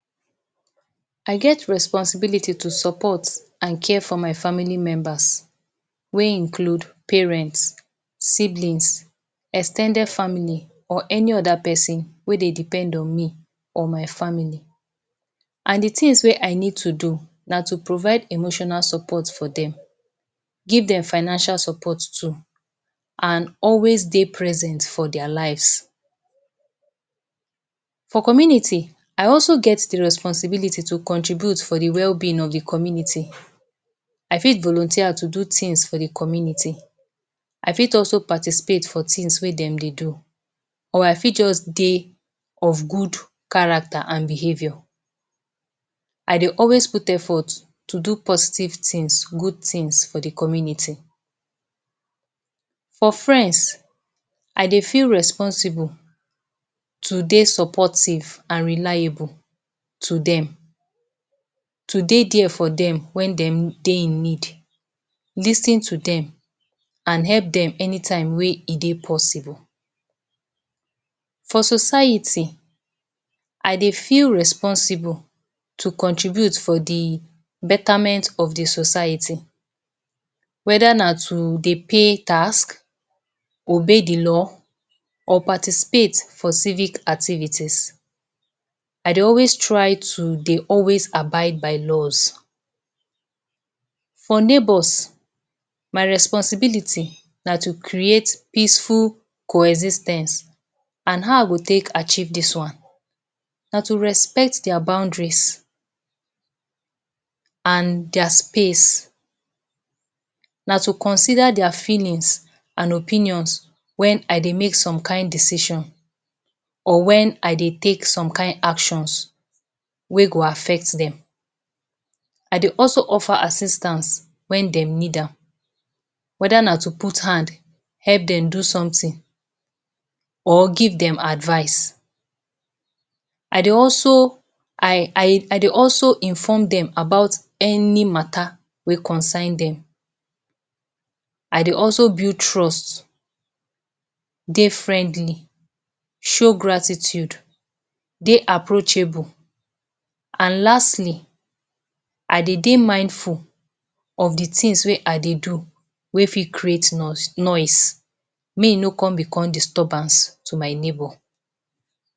I get responsibility to support and care for my family members wey include; parents, siblings, ex ten ded family or any other person wey dey depend on me or my family. And de things wey I need to do na to provide emotional support for dem, give dem financial support too and always dey present for dia lives. For community, I also get de responsibility to contribute for de well-being of de community. I fit volunteer to do things for de community, I fit also participate for things wey dem dey do or I fit just dey of good character and behaviour. I dey always put effort to do positive things good things for de community. For friends, I dey feel responsible to dey supportive and reliable to dem, to dey there for dem wen dem dey in need, lis ten to dem and help dem anytime wey e dey possible. For society I dey feel responsible to contribute for de betterment of de society, whether na to dey pay tax, obey de law or participate for civic activities. I dey always try to dey always abide by laws. For neighbours, my responsibility na to create peaceful coexis ten ce, and how I go take achieve dis one; na to respect their boundaries and their space. Na to consider their feelings and opinions wen I dey make some kind decision or wen I dey take some kind actions wey go affect dem. I dey also offer assistance wen dem need am whether na to put hand help dem do something or give dem advice. I dey also I I, I dey also inform dem about any matter wey concern dem. I dey also build trust, dey friendly, show gratitude, dey approachable. And lastly, I dey dey mindful of de things wey I dey do wey fit create noise make e no come become disturbance to my neighbour.